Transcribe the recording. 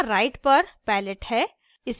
यहाँ right पर palette है